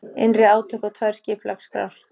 Innri átök og tvær skipulagsskrár